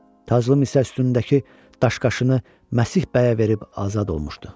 Taclım isə üstündəki daş-qaşını Məsih bəyə verib azad olmuşdu.